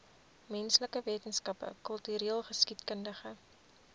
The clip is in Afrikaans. menslike wetenskappe kultureelgeskiedkundige